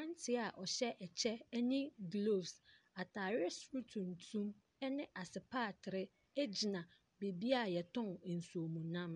Ante a ɔhyɛ kyɛ ne gloves, ɔhyɛ ataare soro tuntum ne asepatere gyina beebi wɔtɔn nsuomunam.